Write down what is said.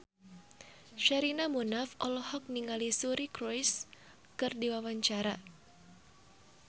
Sherina Munaf olohok ningali Suri Cruise keur diwawancara